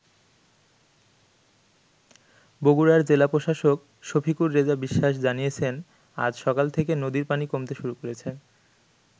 বগুড়ার জেলা প্রশাসক শফিকুর রেজা বিশ্বাস জানিয়েছেন আজ সকাল থেকে নদীর পানি কমতে শুরু করেছে।